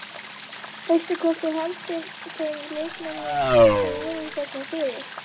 Veistu hvort þú haldir þeim leikmönnum sem voru hérna fyrir?